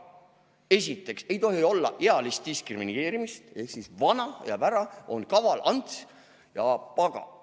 Esiteks ei tohi olla ealist diskrimineerimist ehk siis vana jääb ära, on "Kaval-Ants ja pagan".